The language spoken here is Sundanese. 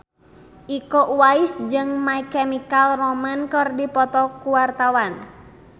Iko Uwais jeung My Chemical Romance keur dipoto ku wartawan